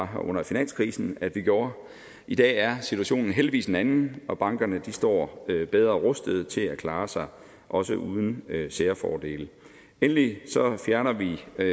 her under finanskrisen at vi gjorde i dag er situationen heldigvis en anden og bankerne står bedre rustet til at klare sig også uden særfordele endelig fjerner vi med